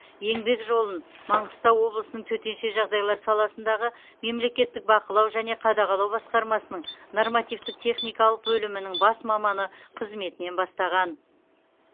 еңбек жолын маңғыстау облысының төтенше жағдайлар саласындағы мемлекеттік бақылау және қадағалау басқармасының нормативтік техникалық бөлімінің бас маманы қызметінен бастаған